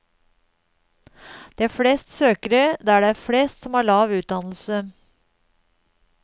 Det er flest søkere der det er flest som har lav utdannelse.